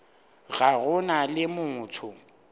ga go na le motho